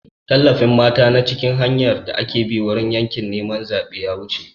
Tallafin mata na cikin hanyar da aka bi wurin yaƙin neman zaɓen da ya wuce.